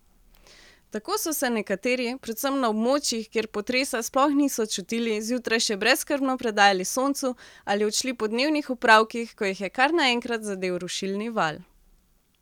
Tako so se nekateri, predvsem na območjih, kjer potresa sploh niso čutili, zjutraj še brezskrbno predajali soncu ali odšli po dnevnih opravkih, ko jih je kar naenkrat zadel rušilni val.